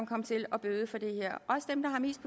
kom til at bøde for det her